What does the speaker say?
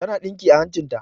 Ta na ɗinki a hancin ta